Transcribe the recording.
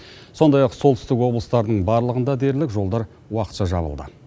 сондай ақ солтүстік облыстардың барлығында дерлік жолдар уақытша жабылды